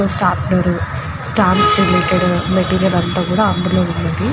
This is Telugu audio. ఒక స్టాంబ్లర్ స్టంప్స్ కి రీలీటెడ్ సంబంధించిన మెటీరియల్ అంతా కూడా అందులోనే వున్నది.